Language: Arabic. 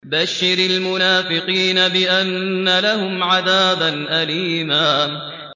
بَشِّرِ الْمُنَافِقِينَ بِأَنَّ لَهُمْ عَذَابًا أَلِيمًا